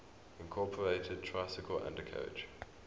incorporated tricycle undercarriage